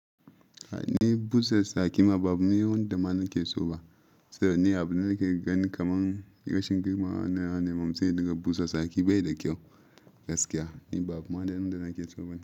Ni busa saki ma babu wanda mana ke so ba. Sai dai ni abu nake gani kamar rashin girmama na ne. Mamza daga busa saki bai da kyau gaskiya. Ni babu wanda yana ke so ba.